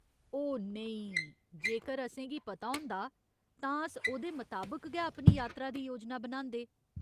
ओह्, नेईं, जेकर असेंगी पता होंदा, तां अस ओह्‌दे मताबक गै अपनी यात्रा दी योजना बनांदे।